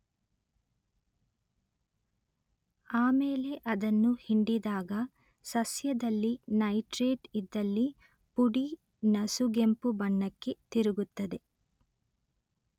ಆಮೇಲೆ ಅದನ್ನು ಹಿಂಡಿದಾಗ ಸಸ್ಯದಲ್ಲಿ ನೈಟ್ರೇಟ್ ಇದ್ದಲ್ಲಿ ಪುಡಿ ನಸುಗೆಂಪು ಬಣ್ಣಕ್ಕೆ ತಿರುಗುತ್ತದೆ